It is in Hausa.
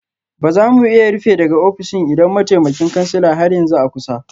Ba za mu iya rufe daga ofishin idan mataimakin kansila har yanzu a kusa